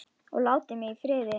Og láti mig í friði.